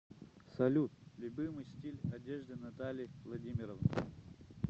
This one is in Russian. салют любимый стиль одежды натальи владимировны